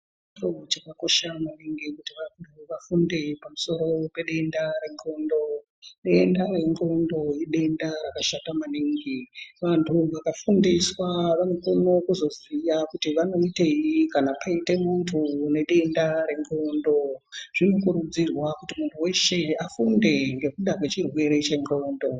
Chiro chakakosha maningi kuti vantu vafunde pamusoro pedenda rendxondo denda rendxondo idenda rakashata maningi vantu vakafundiswa vanokone kuzoziya kuti vanoitei kana paite muntu une denda rendxondo zvinokurudzirwa kuti muntu weshe afunde ngekuda kwechirwere chendxondo.